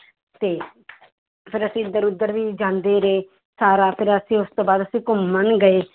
ਤੇ ਫਿਰ ਅਸੀਂ ਇੱਧਰ ਉੱਧਰ ਵੀ ਜਾਂਦੇ ਰਹੇ, ਸਾਰਾ ਫਿਰ ਅਸੀਂ ਉਸ ਤੋਂ ਬਾਅਦ ਅਸੀਂ ਘੁੰਮਣ ਗਏ।